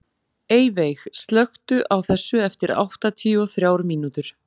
Eyveig, slökktu á þessu eftir áttatíu og þrjár mínútur.